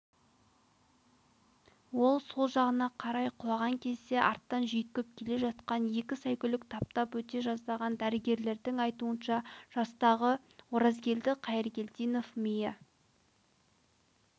ол сол жағына қарай құлаған кезде арттан жүйткіп келе жатқан екі сәйгүлік таптап өте жаздаған дәрігерлердің айтуынша жастағы оразгелді қайыргелдинов миы